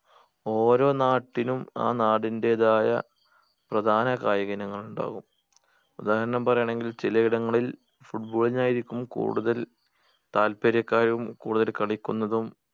ഓരോ നാട്ടിനും ആ നാടിന്റേതായ പ്രധാന കായിക ഇനങ്ങള് ഇണ്ടാകും ഉദാഹരണം പറയാണെങ്കിൽ ചില ഇടങ്ങളിൽ football നായിരിക്കും കൂടുതൽ താല്പര്യക്കാരും കൂടുതൽ കളിക്കുന്നതും